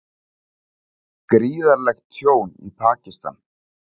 Gríðarlegt tjón í Pakistan